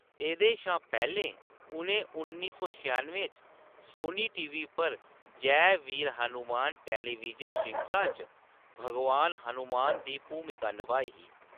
एह्‌‌‌दे शा पैह्‌‌‌लें, उʼनें उन्नी सौ छेआनुएं च सोनी टीवी पर जै वीर हनुमान टैलीविजन श्रृंखला च भगवान हनुमान दी भूमिका नभाई ही।